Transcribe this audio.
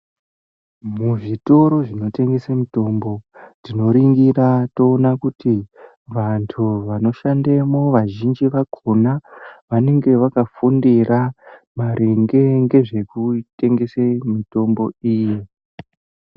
Muzvitoro zvinotengesa mitombo tinoningira toona kuti vantu vanoshandamo vazhinji vakhona vanenge vakafundira maringe nezvekutengese mutambo iyi.